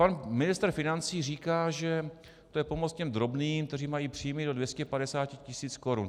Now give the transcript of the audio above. Pan ministr financí říká, že to je pomoc těm drobným, kteří mají příjmy do 250 tisíc korun.